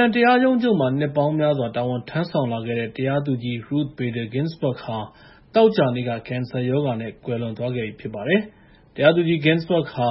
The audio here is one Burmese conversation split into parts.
န် တရားရုံးချုပ်မှာ နှစ်ပေါင်းများစွာ တာဝန်ထမ်းဆောင်လာတဲ့ တရားသူကြီး Ruth Bader Ginsburg ဟာ သောကြာနေ့က ကင်ဆာရောဂါနဲ့ ကွယ်လွန်သွားပါတယ်။ တရားသူကြီး Ginsburg ဟာ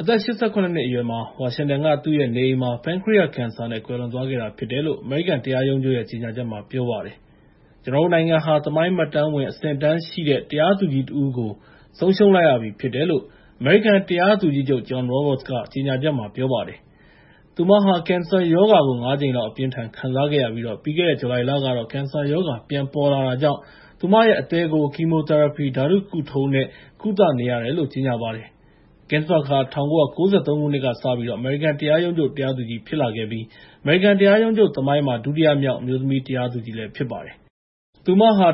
အသက် ၈၇ နှစ်အရွယ်မှာ ဝါရှင်တန်က သူ့ရဲ့နေအိမ်မှာ ပန်ခရိယကင်ဆာနဲ့ ကွယ်လွန်သွားခဲ့တာဖြစ်တယ်လို့ အမေရိကန် တရားရုံးချုပ်ရဲ့ ကြေညာချက်မှာ ပြောထားပါတယ်။ “ကျနော်တို့နိုင်ငံဟာ သမိုင်းမှတ်တမ်းဝင် အဆင့်အတန်းရှိတဲ့ တရားသူကြီးတဦးကို ဆုံးရှုံးလိုက်ရပြီဖြစ်တယ်လို့” အမေရိကန် တရားသူကြီးချုပ် John Roberts က ကြေညာချက်မှာ ပြောလိုက်ပါတယ်။ သူဟာ ကင်ဆာရောဂါကို ၅ ကြိမ်လောက် အပြင်းအထန် ခံစားခဲ့ရပြီး ပြီးခဲ့တဲ့ ဇူလိုင်လကတော့ ကင်ဆာရောဂါ ပြန်ပေါ်လာတာကြောင့် အသည်းကို Chemotherapy ဓာတုကုထုံးနဲ့ ကုသနေရတယ်လို့ ကြေညာပါတယ်။ Ginsburg ဟာ ၁၉၉၃ ခုနှစ်ကစပြီး အမေရိကန် တရားရုံးချုပ် တရားသူကြီး ဖြစ်လာခဲ့ပြီး အမေရိကန် တရားရုံးချုပ်သမိုင်းမှာ ဒုတိယမြောက် အမျိုးသမီး တရားသူကြီးလည်း ဖြစ်ပါတယ်။ ၁၉၅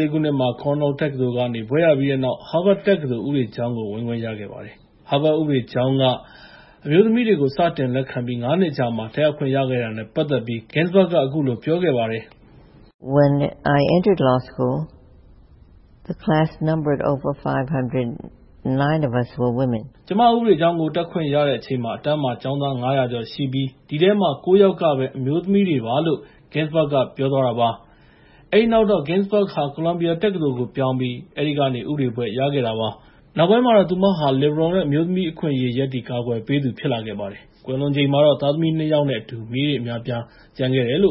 ၄ ခုနှစ်မှာ Cornell တက္ကသိုလ်ကနေ ဘွဲ့ရပြီးတဲ့နောက် Harvard တက္ကသိုလ် ဥပဒေကျောင်းကို ဝင်ခွင့်ရခဲ့ပါတယ်။ Harvard ဥပဒေကျောင်းက အမျိုးသမီးတွေကို စတင်လက်ခံပြီး ၅ နှစ်အကြာမှာ တက်ရောက်ခွင့်ရခဲ့တာနဲ့ ပတ်သက်ပြီး Ginsburg က အခုလို ပြောခဲ့ဖူးပါတယ်။ “ကျမ ဥပဒေကျောင်းကို တက်ခွင့်ရတဲ့အချိန်မှာ အတန်းမှာ ကျောင်းသား ၅၀၀ ကျော်ရှိပြီး အဲဒီထဲမှာ အမျိုးသမီး ၉ ယောက်ပဲ ပါပါတယ်” လို့ Ginsburg က ပြောခဲ့ပါတယ်။ အဲဒီနောက်တော့ Ginsburg ဟာ ကိုလံဘီယာတက္ကသိုလ်ကို ပြောင်းပြီး အဲဒီကနေ ဥပဒေဘွဲ့ ရခဲ့တာဖြစ်ပါတယ်။ နောက်ပိုင်းမှာတော့ သူမဟာ လစ်ဘရယ်အယူဝါဒနဲ့ အမျိုးသမီးအခွင့်အရေး ရပ်တည်ကာကွယ်ပေးသူ ဖြစ်လာခဲ့ပါတယ်။ ကွယ်လွန်ချိန်မှာတော့ သားသမီး ၂ ယောက်နဲ့အတူ မြေးအများအပြား ကျန်ခဲ့ပါတယ်။